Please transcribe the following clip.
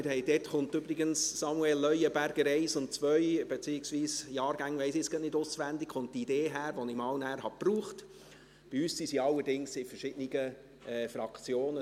Von dort kommt übrigens «Samuel Leuenberger 1 und 2» – die Jahrgänge weiss ich jetzt nicht gerade auswendig –, also die Idee, die ich nachher einmal gebaucht habe, dass man gleiche Namen mit dem Jahrgang unterscheiden könnte.